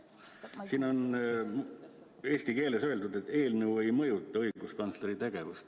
Siin on eesti keeles öeldud, et eelnõu ei mõjuta õiguskantsleri tegevust.